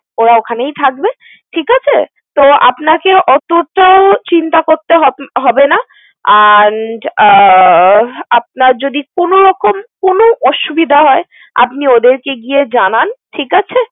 ওরা ওখানেই থাকবে, ঠিক আছে? তো আপনাকেও অতোটা চিন্তা করতে হব~ হবে না and আহ আপনার যদি কোন রকম কোন অসুবিধা হয় আপনি ওদেরকে গিয়ে জানান। ঠিক আছে?